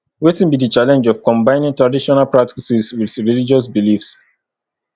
wetin be di challenge of combining traditional practices with religious beliefs